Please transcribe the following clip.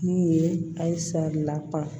Min ye halisa laban